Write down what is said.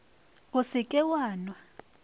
o se ke wa nwa